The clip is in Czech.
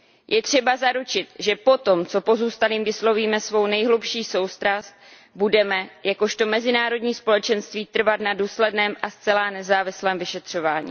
Je třeba zaručit, že potom, co pozůstalým vyslovíme svou nejhlubší soustrast, budeme jakožto mezinárodní společenství trvat na důsledném a zcela nezávislém vyšetřování.